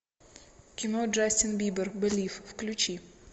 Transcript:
кино джастин бибер белив включи